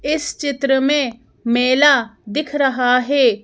इस चित्र में मेला दिख रहा है।